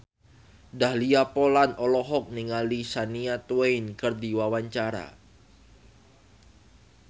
Dahlia Poland olohok ningali Shania Twain keur diwawancara